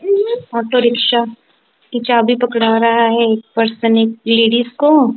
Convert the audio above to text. Auto rickshaw की चाबी पकड़ा रहा है एक पर्सन एक लेडीस को।